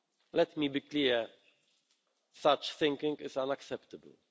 Let me be clear such thinking is unacceptable.